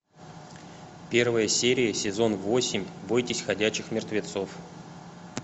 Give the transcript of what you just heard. первая серия сезон восемь бойтесь ходячих мертвецов